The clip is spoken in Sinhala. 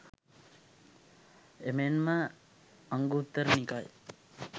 එමෙන්ම අංගුත්තර නිකායේ